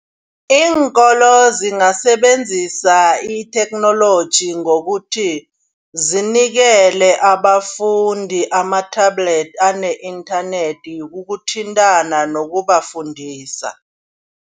Iinkolo zingasebenzisa itheknoloji ngokuthi zinikele abafundi ama-tablet ane-inthanethi kokuthintana nokubafundisa.